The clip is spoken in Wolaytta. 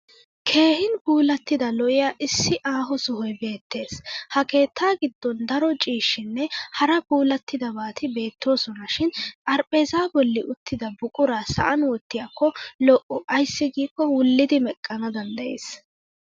Keehin puulattida lo'iya issi aaho sohoy beettes. Ha keettaa giddon daro ciishshynne hara puullattidabati beettoosona shin xarphpheezzaa bolli uttida buquraa sa'an wottiyakko lo'o ayssi giikko wullidi meqqana danddayes.